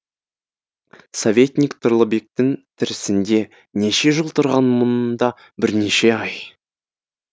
советник тұрлыбектің тірісінде неше жыл тұрған мұнда бірнеше ай